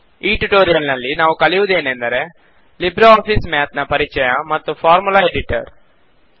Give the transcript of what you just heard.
ಈ ಟ್ಯುಟೋರಿಯಲ್ ನಲ್ಲಿ ನಾವು ಕಲಿಯುವುದೆನೆಂದರೆ ಲಿಬ್ರೆ ಆಫೀಸ್ ಮ್ಯಾತ್ ನ ಪರಿಚಯ ಮತ್ತು ಫಾರ್ಮುಲಾ ಎಡಿಟರ್